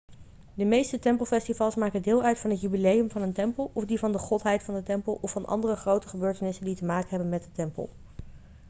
de meeste tempelfestivals maken deel uit van het jubileum van een tempel of die van de godheid van de tempel of van andere grote gebeurtenissen die te maken hebben met de tempel